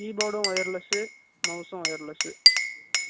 keyboard ம் wireless சு, mouse ம் wireless சு